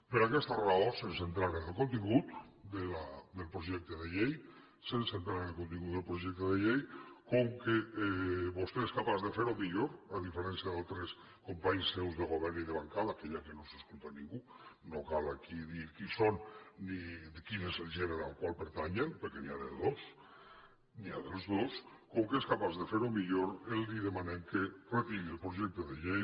per aquesta raó sense entrar en contingut del projecte de llei sense entrar en el contingut del projecte de llei com que vostè és capaç de fer ho millor a diferència d’altres companys seus de govern i de bancada que ja que no ens escolta ningú no cal aquí dir qui són ni quin és el gènere al qual pertanyen perquè n’hi ha de dos n’hi ha dels dos com que és capaç de ferho millor li demanem que retiri el projecte de llei